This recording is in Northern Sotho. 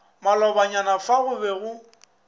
malobanyana fa go be go